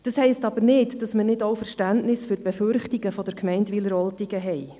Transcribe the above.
Das heisst aber nicht, dass wir nicht auch Verständnis für die Befürchtungen der Gemeinde Wileroltigen haben.